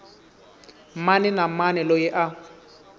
mani na mani loyi a